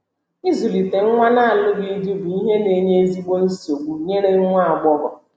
Ịzụlite nwa n’alụghị di bụ ihe n'enye ezigbo nsogbu nyere nwa agbọghọ.